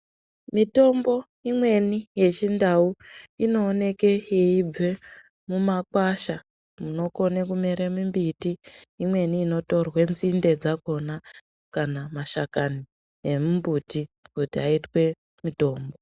Mitombo imweni yeChiNdau inooneke yeibve mumakwasha, munokone kumere mimbiti imweni inotorwe nzinde dzakona kana mashakani emimbuti kuti aitwe mutombo.